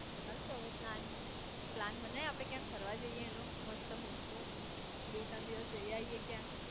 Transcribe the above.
ચાલ તો હવે પ્લાન પ્લાન બનાય આપડે ક્યાંક ફરવા જઇયે એનો મસ્ત મોટો બે ત્રણ દિવસ જય આયાએ ક્યાંક